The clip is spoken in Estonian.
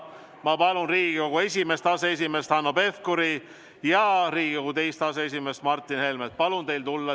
Ma palun Riigikogu esimesel aseesimehel Hanno Pevkuril ja Riigikogu teisel aseesimees Martin Helmel siia tulla.